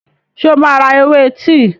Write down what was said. Ṣé o máa ra ewé tíì?